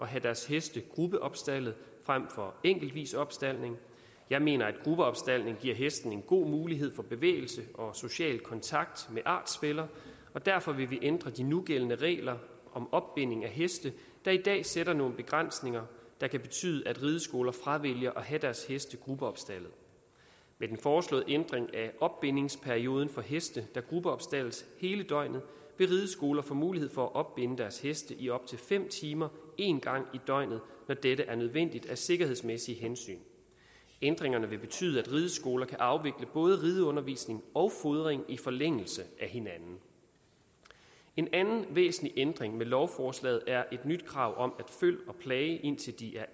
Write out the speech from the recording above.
have deres heste gruppeopstaldet frem for enkeltvis opstaldning jeg mener at gruppeopstaldning giver hestene en god mulighed for bevægelse og social kontakt med artsfæller og derfor vil vi ændre de nugældende regler om opbinding af heste der i dag sætter nogle begrænsninger der kan betyde at rideskoler fravælger at have deres heste gruppeopstaldet med den foreslåede ændring af opbindingsperioden for heste der gruppeopstaldes hele døgnet vil rideskoler få mulighed for at opbinde deres heste i op til fem timer én gang i døgnet når dette er nødvendigt af sikkerhedsmæssige hensyn ændringerne vil betyde at rideskoler kan afvikle både rideundervisning og fodring i forlængelse af hinanden en anden væsentlig ændring med lovforslaget er et nyt krav om føl og plage indtil de er